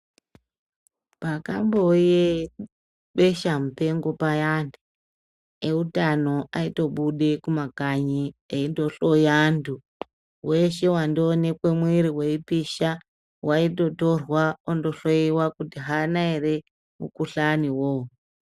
Pakambouye besha mupengo paya, eutano aitobude mumakanye eindohloya antu, ese aonekwe muwere uchipisha aitorwa ondohloyewa kuti haana here mukuhlani oyowo.